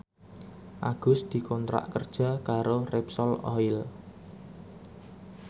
Agus dikontrak kerja karo Repsol Oil